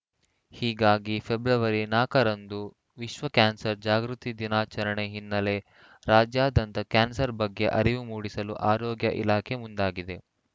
ಹೀಗಾಗಿ ಫೆಬ್ರವರಿ ನಾಕರಂದು ರಂದು ವಿಶ್ವ ಕ್ಯಾನ್ಸರ್‌ ಜಾಗೃತಿ ದಿನಾಚರಣೆ ಹಿನ್ನೆಲೆ ರಾಜ್ಯಾದ್ಯಂತ ಕ್ಯಾನ್ಸರ್‌ ಬಗ್ಗೆ ಅರಿವು ಮೂಡಿಸಲು ಆರೋಗ್ಯ ಇಲಾಖೆ ಮುಂದಾಗಿದೆ